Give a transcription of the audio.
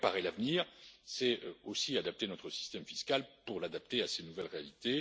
Préparer l'avenir, c'est aussi adapter notre système fiscal pour l'adapter à ces nouvelles réalités.